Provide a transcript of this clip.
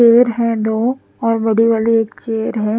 Paid है दो और बड़े वाले एक चेयर है ।